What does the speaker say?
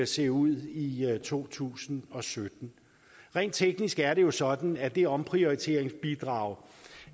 se ud i i to tusind og sytten rent teknisk er det jo sådan at det omprioriteringsbidrag